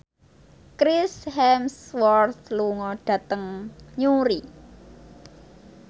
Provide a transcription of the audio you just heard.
Chris Hemsworth lunga dhateng Newry